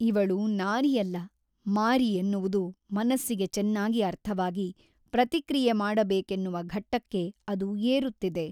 ಇವಳು ನಾರಿಯಲ್ಲ ಮಾರಿ ಎನ್ನುವುದು ಮನಸ್ಸಿಗೆ ಚೆನ್ನಾಗಿ ಅರ್ಥವಾಗಿ ಪ್ರತಿಕ್ರಿಯೆ ಮಾಡಬೇಕೆನ್ನುವ ಘಟ್ಟಕ್ಕೆ ಅದು ಏರುತ್ತಿದೆ.